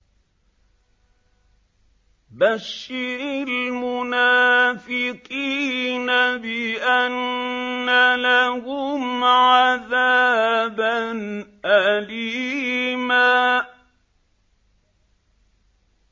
بَشِّرِ الْمُنَافِقِينَ بِأَنَّ لَهُمْ عَذَابًا أَلِيمًا